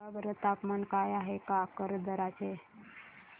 सांगा बरं तापमान काय आहे काकरदरा चे